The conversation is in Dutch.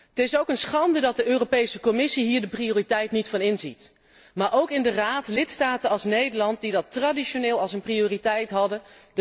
Het is ook een schande dat de Europese Commissie hier de prioriteit niet van inziet, maar evenmin de Raad en lidstaten als Nederland, die dat traditioneel als een prioriteit hadden.